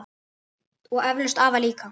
Og eflaust afa líka.